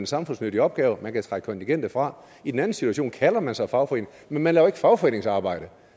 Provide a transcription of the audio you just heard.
samfundsnyttig opgave og man kan trække kontingentet fra i den anden situation kalder man sig fagforening men man laver ikke fagforeningsarbejde